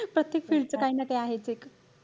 प्रत्येक field च काही ना काही आहेच एक.